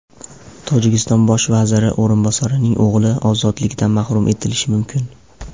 Tojikiston bosh vaziri o‘rinbosarining o‘g‘li ozodlikdan mahrum etilishi mumkin.